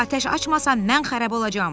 Atəş açmasam mən xarab olacam.